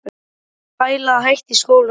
Ég er að pæla í að hætta í skólanum.